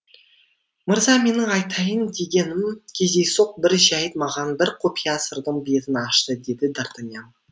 мырза менің айтайын дегенім кездейсоқ бір жәйт маған бір құпия сырдың бетін ашты деді д артаньян